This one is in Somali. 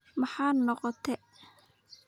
Maxaad noqote?